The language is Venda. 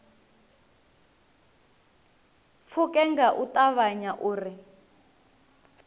pfuke nga u ṱavhanya uri